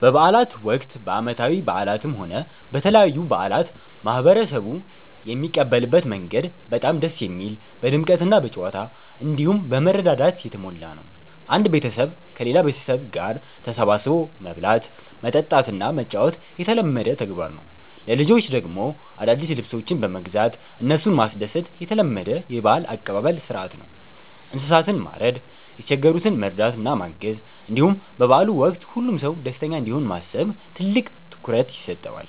በበዓላት ወቅት፣ በዓመታዊ በዓላትም ሆነ በተለያዩ በዓላት ማህበረሰቡ የሚቀበልበት መንገድ በጣም ደስ የሚል፣ በድምቀትና በጨዋታ፣ እንዲሁም በመረዳዳት የተሞላ ነው። አንድ ቤተሰብ ከሌላ ቤተሰብ ጋር ተሰባስቦ መብላት፣ መጠጣትና መጫወት የተለመደ ተግባር ነው። ለልጆች ደግሞ አዳዲስ ልብሶችን በመግዛት እነሱን ማስደሰት የተለመደ የበዓል አቀባበል ሥርዓት ነው። እንስሳትን ማረድ፣ የተቸገሩትን መርዳትና ማገዝ፣ እንዲሁም በበዓሉ ወቅት ሁሉም ሰው ደስተኛ እንዲሆን ማሰብ ትልቅ ትኩረት ይሰጠዋል።